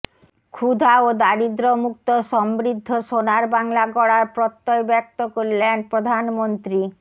ক্ষুধা ও দারিদ্র্যমুক্ত সমৃদ্ধ সোনার বাংলা গড়ার প্রত্যয় ব্যক্ত করলেন প্রধানমন্ত্রী